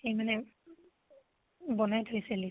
সেই মানে বনাই থৈছে list খন